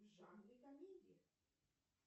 в жанре комедия